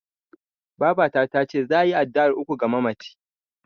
Babata tace za'a yi addu'ar uku ga mamacin.